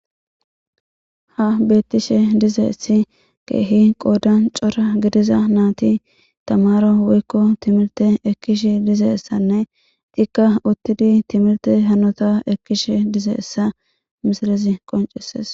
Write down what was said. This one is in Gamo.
Ha bettishe dize essi geehi qoodan cora gidiza naati tamaro woykko timilte ekkish dizeessanne tikka uttidi timilte hanota ekkishe dize essa misilizi qoncesees